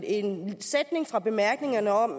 en sætning fra bemærkningerne om